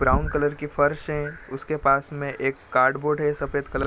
brown colour की फर्श है उसके पास में एक कार्ड-बोर्ड है सफेद कलर --